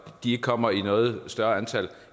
de ikke kommer i noget større antal